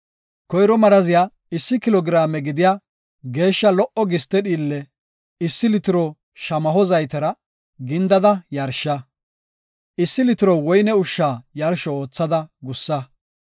Koyro maraziyara issi kilo giraame gidiya geeshsha lo77o giste dhiille, issi litiro shamaho zaytera gindada yarsha. Issi litiro woyne ushsha yarsho oothada gussa.